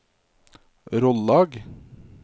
Rollag